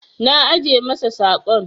Na ajiye masa saƙon.